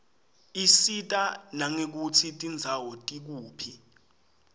isita nangekutsi tindzawo tikuphi